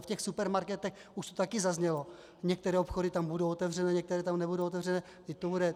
A v těch supermarketech, už to taky zaznělo, některé obchody tam budou otevřené, některé tam nebudou otevřené.